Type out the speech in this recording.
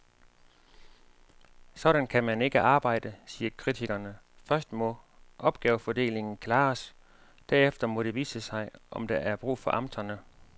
Sådan kan man ikke arbejde, siger kritikerne, først må opgavefordelingen klares, derefter må det vise sig, om der er brug for amterne.